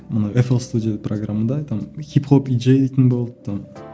мына эплстудия программында там хип хоп диджей дейтін болды там